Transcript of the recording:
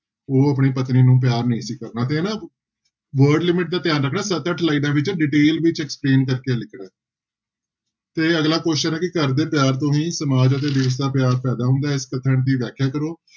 ਉਹ ਆਪਣੀ ਪਤਨੀ ਨੂੰ ਪਿਆਰ ਨਹੀਂ ਸੀ ਕਰਦਾ ਤੇ ਨਾ word limit ਦਾ ਧਿਆਨ ਰੱਖਣਾ ਸੱਤ ਅੱਠ ਲਾਇਨਾਂ ਵਿੱਚ detail ਵਿੱਚ explain ਕਰਕੇ ਲਿਖਣਾ ਹੈ ਤੇ ਅਗਲਾ question ਹੈ ਕਿ ਘਰਦੇ ਪਿਆਰ ਤੋਂ ਹੀ ਸਮਾਜ ਅਤੇ ਦੇਸ ਦਾ ਪਿਆਰ ਪੈਦਾ ਹੁੰਦਾ ਹੈ ਇਸ ਕਥਨ ਦੀ ਵਿਆਖਿਆ ਕਰੋ।